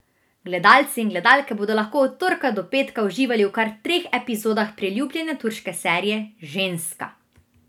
Gledalci in gledalke bodo lahko od torka do petka uživali v kar treh epizodah priljubljene turške serije Ženska!